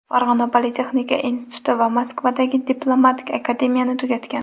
Farg‘ona politexnika instituti va Moskvadagi Diplomatik akademiyani tugatgan.